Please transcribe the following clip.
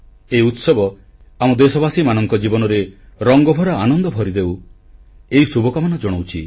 ଏହି ଉତ୍ସବ ଆମ ଦେଶବାସୀମାନଙ୍କ ଜୀବନରେ ରଙ୍ଗଭରା ଆନନ୍ଦ ଭରିଦେଉ ଏହି ଶୁଭକାମନା ଜଣାଉଛି